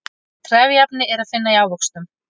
trefjaefni er að finna í ávöxtum